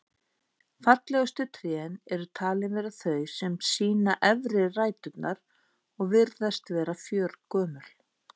Fallegustu trén eru talin vera þau sem sýna efri ræturnar og virðast vera fjörgömul.